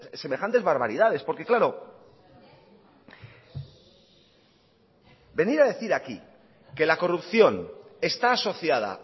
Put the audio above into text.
semejantes barbaridades porque claro venir a decir aquí que la corrupción está asociada